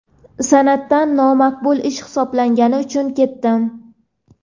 san’atdan nomaqbul ish hisoblangani uchun ketdim.